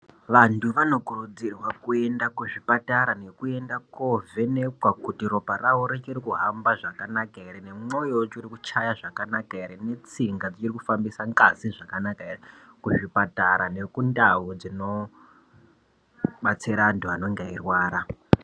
Vandu vanokurudzirwa kuenda kuzvipatara nekuenda kovhenekwa kuti ropa rawo richiri kuhamba zvakanaka here nemwoyo yavo uchiri kuchaya zvakanaka here netsinga dzichiri kufambisa ngazi zvakanaka here kuzvipatara nekundawu dzinobatsira wandu wanenge weyirwara.